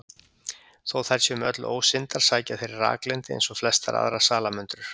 Þó þær séu með öllu ósyndar sækja þær í raklendi eins og flestar aðrar salamöndrur.